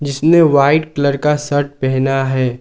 उसने white colour का shirt पहना है।